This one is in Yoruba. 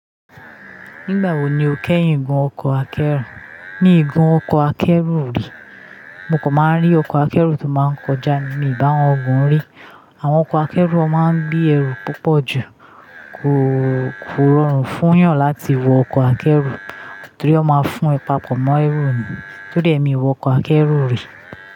Nígbà wo ni o kẹ́yìn ìgun ọkọ̀ akẹ́rù? Mí gun ọkọ̀ akẹ́rù rí. Mo kò máa rí ọkọ̀ akẹ́rù tó máa ń kọjá ní mi ba won gùn rí. Àwọn ọkọ̀ akẹ́rù a máa ń gbé ẹrù púpọ̀ ju. Kò rọrùn fún yàn láti wọ ọkọ̀ akẹ́rù torí ó máa ń fún ẹ papọ mọ ẹrú ni. Tori ẹ mi o wọ ọkọ̀ akẹ́rù rí.